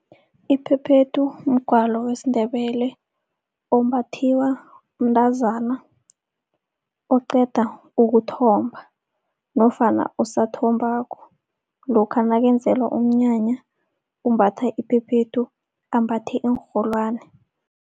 Iphephethu mgwalo wesiNdebele ombathwa mntazana oqeda ukuthomba. Nofana osathombako, lokha nakenzelwa umnyanya umbatha iphephethu, ambathe iinrholwana.